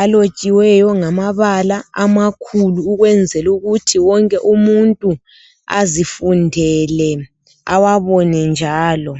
alotshiweyo ngamabala amakhulu ukwenzela ukuthi wonke umuntu azifundele awabone njalo.